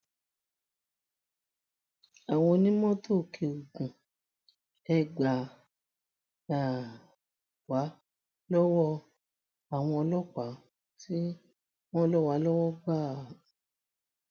àwọn onímọtò ọkẹogun e gbà um wá lọwọ àwọn ọlọpàá tí wọn ń lò wá lọwọ gbà um